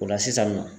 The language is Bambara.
O la sisan nɔ